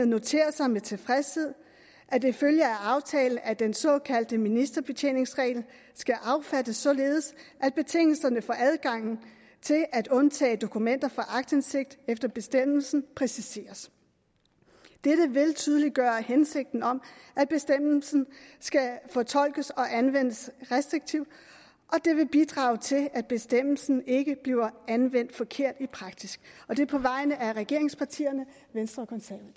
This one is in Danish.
noterer sig med tilfredshed at det følger af aftalen at den såkaldte ministerbetjeningsregel skal affattes således at betingelserne for adgangen til at undtage dokumenter fra aktindsigt efter bestemmelsen præciseres dette vil tydeliggøre hensigten om at bestemmelsen skal fortolkes og anvendes restriktivt og det vil bidrage til at bestemmelsen ikke bliver anvendt forkert i praksis og det er på vegne af regeringspartierne venstre